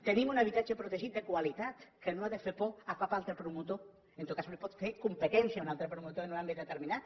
tenim un habitatge protegit de qualitat que no ha de fer por a cap altre promotor en tot cas li pot fer competència a un altre promotor en un àmbit determinat